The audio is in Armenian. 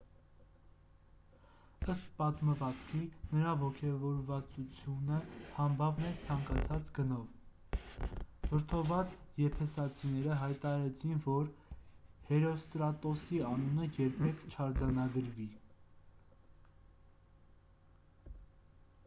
ըստ պատմվածքի նրա ոգևորվածությունը համբավն էր ցանկացած գնով վրդովված եփեսացիները հայտարարեցին որ հերոստրատոսի անունը երբեք չարձանագրվի